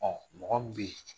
Ɔ m ɔgɔ min bɛ yen.